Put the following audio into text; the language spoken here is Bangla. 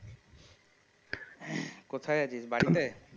হ্যাঁ কোথায় আছিস বাড়িতে